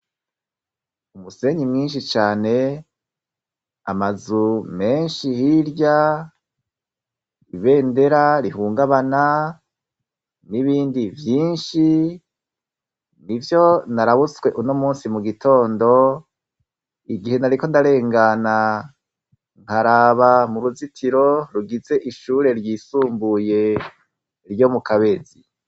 Umusenyi mwinshi cane amazu menshi hirya ibendera rihungabana n'ibindi vyinshi ni vyo narabutswe uno musi mu gitondo igihe nariko ndarengana nkaraba mu ruzitiro rugize ishure ryisumbuye ryo mu kabezi.